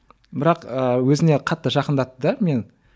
бірақ ыыы өзіне қатты жақындатты да мені